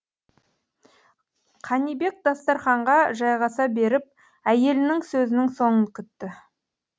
қанибек дастарханға жайғаса беріп әйелінің сөзінің соңын күтті